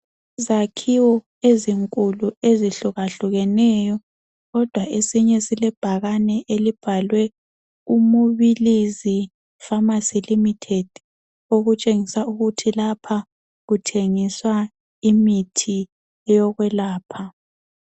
Izakhiwo ezinkulu ezihlukahlukeneyo kodwa esinye silebhakane elibhalwe uMubilizi Pharmacy Limited okutshengisa ukuthi lapha kuthengiswa imithi eyokwelapha.